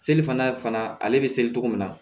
Seli fana ale bɛ seli cogo min na